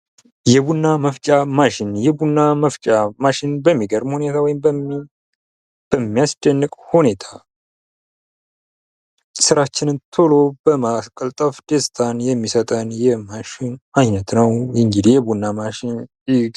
የቡና መፍጫ ማሽን ፡-የቡና መፍጫ ማሽን በሚገርም ሁኔታ ወይም በሚያስደንቅ ሁኔታ ስራችንን ቶሎ በማቀላጠፍ ደስታን የሚሰጠን የማሽን አይነት ነው።